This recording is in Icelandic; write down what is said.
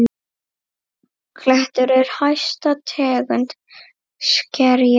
Klettur er hæsta tegund skerja.